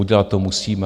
Udělat to musíme.